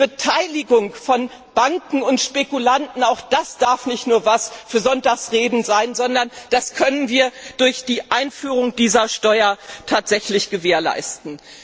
Auch die Beteiligung von Banken und Spekulanten darf nicht nur etwas für Sonntagsreden sein, sondern wir können sie durch die Einführung dieser Steuer tatsächlich gewährleisten.